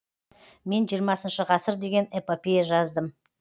мен жиырмасыншы ғасыр деген эпопея жаздым